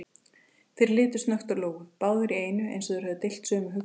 Þeir litu snöggt á Lóu, báðir í einu eins og þeir hefðu deilt sömu hugsun.